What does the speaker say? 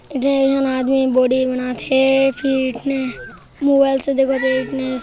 दो झन आदमी बॉडी बनात हे फिट्नेस फिर ]